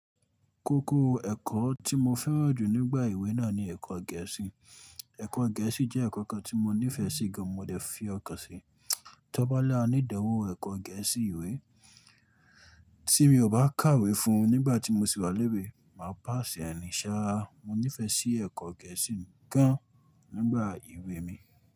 Kókó ẹ̀kọ́ tí mo fẹ́ràn jù nígbà ewé náà ni ẹ̀kọ́ gẹ̀ẹ́sì. Ẹ̀kọ́ gẹ̀ẹ́sì jẹ́ ẹ̀kọ́ kan tí mo nífẹ̀ẹ́ sí gan, mo dẹ̀ fi ọkàn sí. Tọ́ bá lá ní idanwo ẹ̀kọ́ gẹ̀ẹ́sì ìwé tí mo bá kàwé fun nígbà tí mo sì wà léwe, máa pàṣẹ ẹ nìṣà. Mo nífẹ̀ẹ́ sí ẹ̀kọ́ gẹ̀ẹ́sì gan nígbà ewé mi.